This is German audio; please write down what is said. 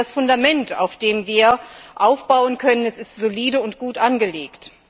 Aber das Fundament, auf dem wir aufbauen können, ist solide und gut angelegt.